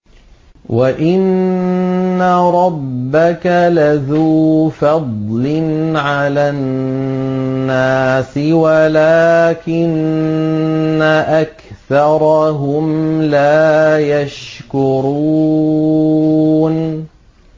وَإِنَّ رَبَّكَ لَذُو فَضْلٍ عَلَى النَّاسِ وَلَٰكِنَّ أَكْثَرَهُمْ لَا يَشْكُرُونَ